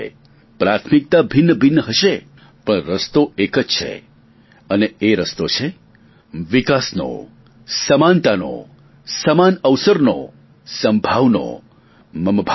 પ્રાથમિકતા ભિન્નભિન્ન હશે પણ રસ્તો એક જ છે અને તે રસ્તો છે વિકાસનો સમાનતાનો સમાન અવસરનો સમભાવનો મમ ભાવનો